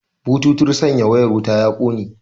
Bututun sanya wayar wuta ya kone